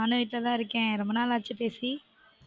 நானும் வீட்ல தான் இருக்கன் ரொம்ப நாள் ஆச்சு பேசி